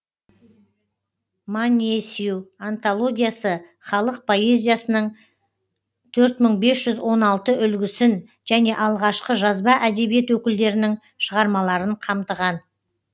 манъесю антологиясы халық поэзиясының төрт мың бес жүз он алты үлгісін және алғашқы жазба әдебиет өкілдерінің шығармаларын қамтыған